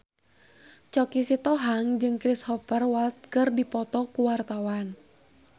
Choky Sitohang jeung Cristhoper Waltz keur dipoto ku wartawan